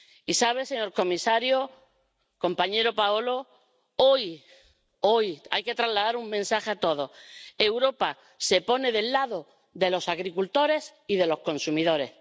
Y saben, señor comisario, compañero Paolo, hoy hay que trasladar un mensaje a todos Europa se pone del lado de los agricultores y de los consumidores.